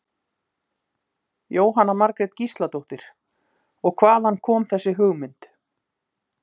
Jóhanna Margrét Gísladóttir: Og hvaðan kom þessi hugmynd?